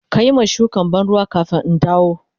Ka yi ma shukan ban ruwa kafin in dawo.